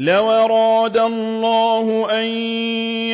لَّوْ أَرَادَ اللَّهُ أَن